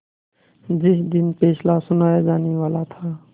जिस दिन फैसला सुनाया जानेवाला था